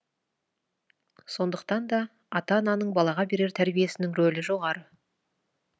сондықтан да ата ананың балаға берер тәрбиесінің рөлі жоғары